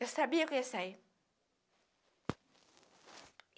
Eu sabia que eu ia sair.